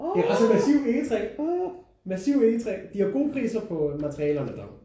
Det er også i massiv egetræ massiv egetræ. De har gode priser på materialerne der